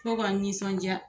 Fo ka n nisɔndiya